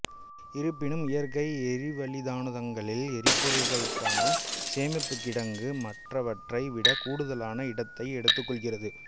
இருப்பினும் இயற்கை எரிவளி தானுந்துகளில் எரிபொருளுக்கான சேமிப்புக்கிடங்கு மற்றவற்றை விட கூடுதலான இடத்தை எடுத்துக்கொள்கிறது